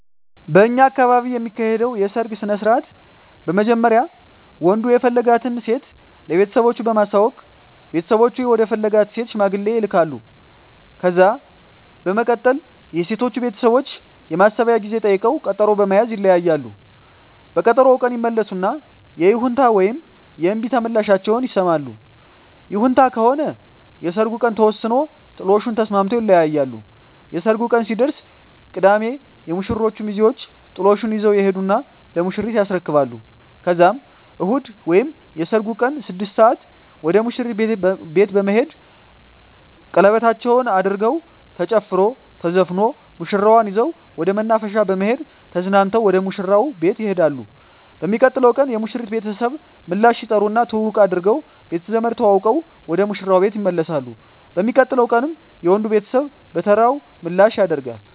በእኛ አካባቢ የሚካሄደዉ የሰርግ ስነስርአት በመጀመሪያ ወንዱ የፈለጋትን ሴት ለቤተሰቦቹ በማሳወቅ ቤተሰቦቹ ወደ ፈለጋት ሴት ሽማግሌ ይላካል። ከዛ በመቀጠል የሴቶቹ ቤተሰቦች የማሰቢያ ጊዜ ጠይቀዉ ቀጠሮ በመያዝ ይለያያሉ። በቀጠሮዉ ቀን ይመለሱና የይሁንታ ወይም የእምቢታ ምላሻቸዉን ይሰማሉ። ይሁንታ ከሆነ የሰርጉ ቀን ተወስኖ ጥሎሹን ተስማምተዉ ይለያያሉ። የሰርጉ ቀን ሲደርስ ቅዳሜ የሙሽሮቹ ሚዜወች ጥሎሹን ይዘዉ ይሄዱና ለሙሽሪት ያስረክባሉ ከዛም እሁድ ወይም የሰርጉ ቀን 6 ሰአት ወደ ሙሽሪት ቤት በመሄድ ሸለበታቸዉን አድርገዉ ተጨፍሮ ተዘፍኖ ሙሽራዋን ይዘዉ ወደ መናፈሻ በመሄድ ተዝናንተዉ ወደ ሙሽራዉ ቤት ይሄዳሉ። በሚቀጥለዉ ቀን የሙሽሪት ቤተሰብ ምላሽ ይጠሩና ትዉዉቅ አድርገዉ ቤተዘመድ ተዋዉቀዉ ወደ ሙሽራዉ ቤት ይመለሳሉ። በሚቀጥለዉ ቀንም የወንዱ ቤተሰብ በተራዉ ምላሽ ያደ